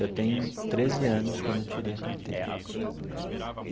Eu tenho treze anos quando eu tirei a carteira.